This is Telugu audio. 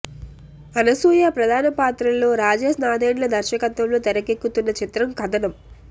అనసూయ ప్రధాన పాత్రలో రాజేష్ నాదెండ్ల దర్శకత్వంలో తెరకెక్కుతున్న చిత్రం కథనం